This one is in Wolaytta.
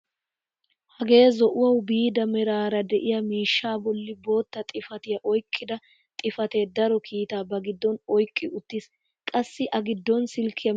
Hagee zo'uwaawu biida meraara de'iyaa miishshaa bolli bootta xifatiyaa oyqqida xifatee daro kiitaa ba giddon oyqqi uttiis. qassi a giddon silkkiyaa misilee de'ees.